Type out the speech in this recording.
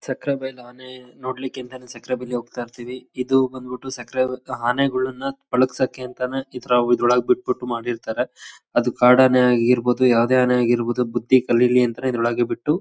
ಸಕ್ರೆ ಬೈಲ್ ಆನೆ ನೋಡ್ಲಿಕ್ ಅಂತಾನೆ ಸಕ್ರೆ ಬೈಲ್ ಲೀಗ್ ಹೋಗ್ತಾ ಇರ್ತಿವಿ ಇದು ಬಂದ್ಬಿಟ್ಟು ಸಕ್ರೆ ಬದ್ದು ಆನೆಗಳನ್ನ ಪಳಗ್ಸಕ್ಕೆ ಅಂತಾನೆ ಇತರ ಎದ್ರು ಒಳಗ್ ಬಿಟ್ ಬಿಟ್ಟು ಮಾಡಿರ್ತಾರೆ. ಅದು ಕಾಡಾನೆ ಆಗಿರಬೋದು ಯಾವದೇ ಆನೆ ಆಗಿರಬೋದು ಬುದ್ದಿ ಕಲಿಲಿ ಅಂತ ಇದ್ರ್ ಒಳಗೆ ಬಿಟ್ಟು--